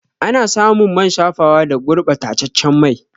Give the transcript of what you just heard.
Ana samun man shafawa da gurba taccen mai